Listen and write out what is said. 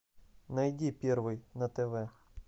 найди первый на тв